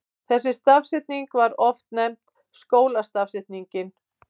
Þessi stafsetning var oft nefnd skólastafsetningin.